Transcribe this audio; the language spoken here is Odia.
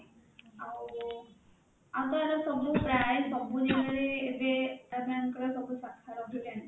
ଆଉ ଆଉ ତାହାଲେ ସବୁ ପ୍ରାୟ ସବୁ ସବୁ ଜଗାରେ ଏବେ ParaBank ର ସବୁ ଶାଖା ରହିଲାଣି